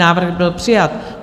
Návrh byl přijat.